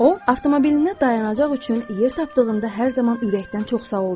O, avtomobilinə dayanacaq üçün yer tapdığında hər zaman ürəkdən çox sağ ol deyir.